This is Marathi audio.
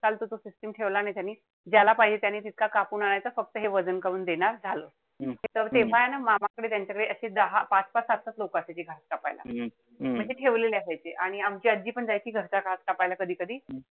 चा तो system ठेवला नाई त्यांनी. ज्याला पाहिजे त्यांनी तितका कापून आणायचा. फक्त हे वजन करून देणार. झालं. त तेव्हाय न मामाकडे, त्यांच्याकडे अशे दहा पाच-पाच-सात-सात लोक असतात ती कापायला. म्हणजे ठेवलेले असायचे. आणि आमची आजी पण जायची घरचा कधी-कधी.